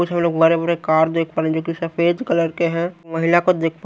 कुछ हम लोग बड़े बड़े कार देख पा रहे हैं जो कि सफेद कलर के हैं महिला को देख--